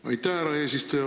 Aitäh, härra eesistuja!